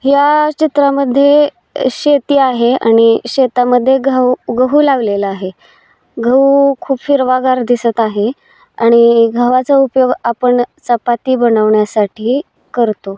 या चित्रामध्ये शेती आहे आणि शेतामध्ये गहू गहू लागलेला आहे गहू खूप हिरवागार दिसत आहे आणि गव्हाचा उपयोग आपण चपाती बनवण्यासाठी करतो.